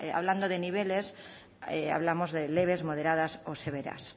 hablando de niveles hablamos de leves moderadas o severas